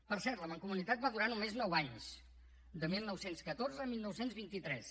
per cert la mancomunitat va durar només nou anys de dinou deu quatre a dinou vint tres